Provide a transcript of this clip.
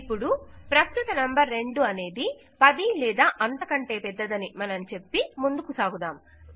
ఇప్పుడు ప్రస్తుత నంబర్ 2 అనేది 10 లేదా అంతకంటే పెద్దదని వాస్తవానికి ఇది కాదు మనం చెప్పి ముందుకు సాగుదాం